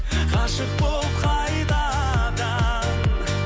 ғашық болып қайтадан